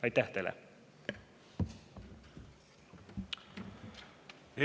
Aitäh teile!